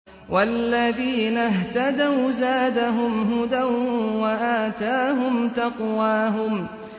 وَالَّذِينَ اهْتَدَوْا زَادَهُمْ هُدًى وَآتَاهُمْ تَقْوَاهُمْ